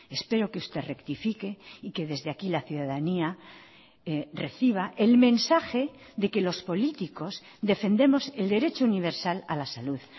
espero que usted rectifique y que desde aquí la ciudadanía reciba el mensaje de que los políticos defendemos el derecho universal a la salud